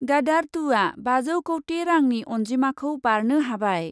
गादार टु आ बाजौ कौटि रांनि अन्जिमाखौ बारनो हाबाय ।